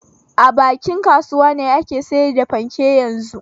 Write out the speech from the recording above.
A bakin kasuwa ne ake sayar da fanke yanzun.